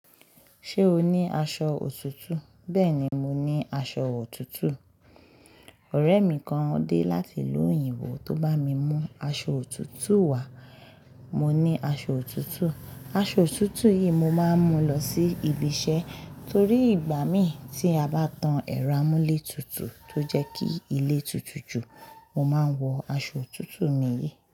Ṣé o ní aṣọ òtútù? Béèni mo ní aso òtútù. Ọ̀rẹ́ mi kan dé láti ìlú òyìnbó tó bá mi mú aṣọ òtútù wá. Mo ní aṣọ òtútù, aṣọ òtútù yìí mo máa ń mú lọ sí ibi iṣẹ́ torí ìgbà mì tí a bá tan ẹ̀rọ amúlétutù tó jẹ́ kí ilé tutù jù, mo máa ń wọ aṣọ òtútù mi yìí.